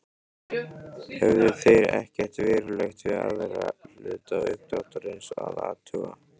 Höfðu þeir ekkert verulegt við aðra hluta uppdráttarins að athuga.